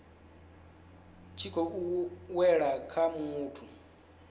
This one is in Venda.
tshi khou wela kha muthu